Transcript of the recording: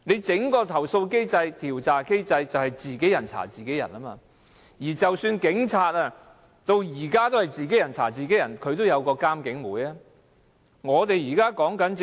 整個投訴機制、調查機制都是自己人查自己人，警方至今仍是如此，但起碼也設有監警會。